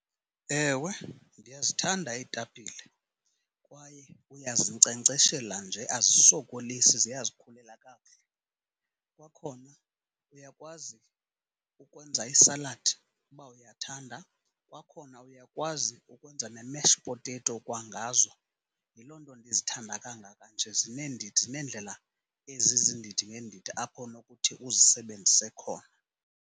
Ewe ndiyazithanda iitapile, kwaye uyazinkcenkceshela nje azisokolisi ziyazikhulela kakuhle. Kwakhona uyakwazi ukwenza isaladi uba uyathanda, kwakhona uyakwazi nokwenza ne-mashed potato kwangazo. Yiloo nto ndizithanda kangaka nje zineendidi, zineendlela ezizindidi ngeendidi apho unokuthi uzisebenzise khona.